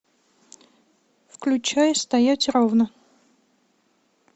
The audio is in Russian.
включай стоять ровно